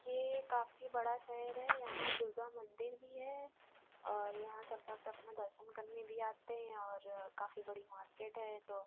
ये काफी बड़ा शहर है यहाँ दुर्गा मंदिर भी है और यहाँ सब भक्त अपना दर्शन करने भी आते हैं और काफी बड़ी मार्केट है ये तो।